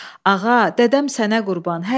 Ağa, dədəm sənə qurban.